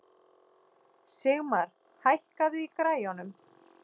Sigmar, hækkaðu í græjunum.